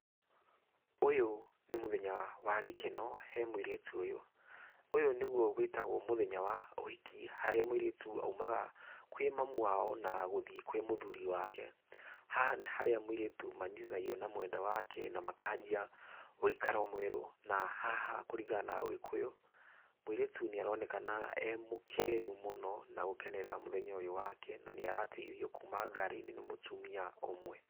Ũyũ nĩ mũthenya wa gĩkeno he mũirĩtu ũyũ, ũyũ nĩgũo wĩtagwo mũthenya wa ũhiki harĩa mũirĩtu aũmaga kwĩ mami wao na gũthiĩ kwĩ mũthuri wake. Haha nĩ harĩa mũirĩtu manyitithanagio na mwendwa wake na makagĩa ũikaro mwerũ na haha kũringa na ũgĩkũyũ mũirĩtu nĩ aronekana e mũkenu mũno na gũkenera mũthenya ũyũ wake na nĩ arateithio kuma ngarinĩ nĩ mũtumia ũmwe.